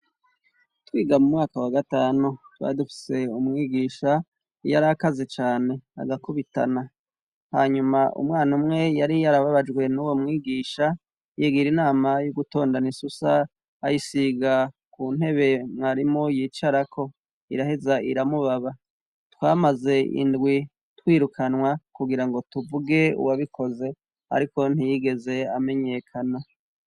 Twiga mu mwaka wa gatanu, twari dufise umwigisha yari akaze cane, agakubitana hanyuma umwana umwe yari yarababajwe n'uwo mwigisha, yigira inama yo gutondana isusa ayisiga ku ntebe mwarimu yicarako, iraheza iramubaba, twamaze indwi twirukanwa, kugira ngo tuvuge uwabikoze, ariko ntiyigeze amenyekana.